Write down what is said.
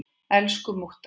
Elsku mútta.